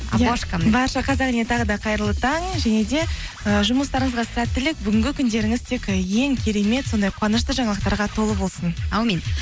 барша қазақ еліне тағы да қайырлы таң және де і жұмыстарыңызға сәттілік бүгінгі күндеріңіз тек ең керемет сондай қуанышты жаңалықтарға толы болсын әумин